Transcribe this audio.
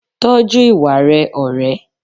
Tọ́jú ìwà rẹ ọ̀rẹ́.